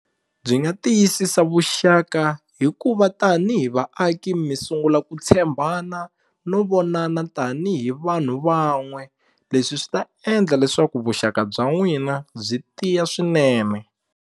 Byi nga tiyisisa vuxaka hikuva tanihi vaaki mi sungula ku tshembana no vonana tanihi vanhu van'we leswi swi ta endla leswaku vuxaka bya n'wina byi tiya swinene.